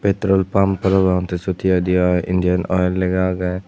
petrol pump parapang tey siyot hi hoidey oi indian oel lega agey.